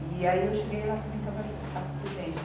E aí eu cheguei lá, também estava ja, estava presente.